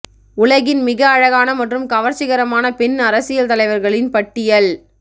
உலகின் மிக அழகான மற்றும் கவர்ச்சிகரமான பெண் அரசியல் தலைவர்களின் பட்டியல்